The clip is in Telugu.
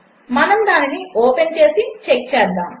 మనము దానిని ఓపెన్ చేసి చెక్ చేద్దాము